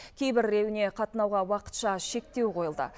кейбіреуіне қатынауға уақытша шектеу қойылды